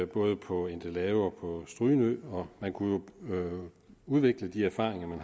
både på endelave og strynø og man kunne jo udvikle erfaringerne